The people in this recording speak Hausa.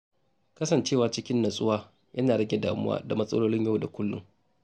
Kasancewa cikin natsuwa yana rage damuwa da matsalolin yau da kullum.